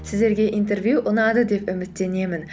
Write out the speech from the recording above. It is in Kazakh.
сіздерге интервью ұнады деп үміттенемін